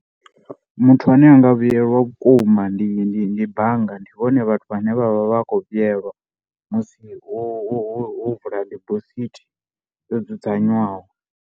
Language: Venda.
Muthu ane a nga vhuyelwa vhukuma ndi ndi ndi bannga ndi vhone vhathu vhane vha vha vha khou vhuyelwa musi wo wo wo vula dibosithi dzo dzudzanywaho.